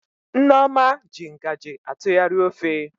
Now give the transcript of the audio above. Nneoma ji ngaji atụgharị ofe